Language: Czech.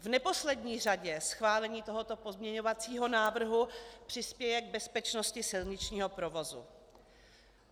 V neposlední řadě schválení tohoto pozměňovacího návrhu přispěje k bezpečnosti silničního provozu.